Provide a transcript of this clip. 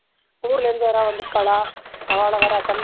ஊர்லருந்து யாராவது வந்துருக்காளா? அவாள வேற attend